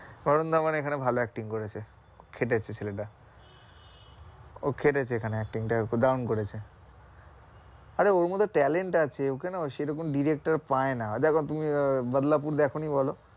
বরুন ধাবান এখানে ভালো acting করেছে, খেটেছে ছেলেটা ও খেটেছে এখানে acting টাই দারুন করেছে আরে ওর মধ্যে talent আছে ওকে না সেই রকম director পায়না দেখো তুমি আহ বাদলাপুর দেখনি বলো?